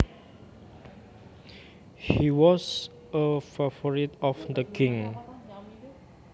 He was a favorite of the king